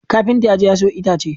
Kafinta ya je ya sayo itacen.